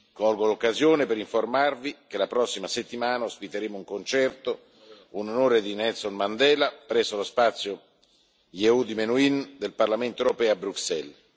Colgo l'occasione per informarvi che la prossima settimana ospiteremo un concerto, in onore di Nelson Mandela, presso lo spazio Yehudi Menuhin del Parlamento europeo a Bruxelles.